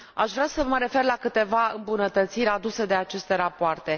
Aș vrea să mă refer la câteva îmbunătățiri aduse de aceste rapoarte.